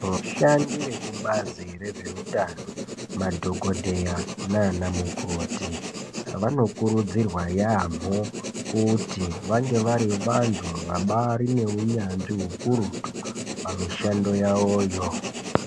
Vashandi vekubazi rezveutano, madhogodheya nanamukoti, vanokurudzirwa yaamho kuti vange vari vantu vabaari neunyanzvi ukurutu pamishando yavoyo.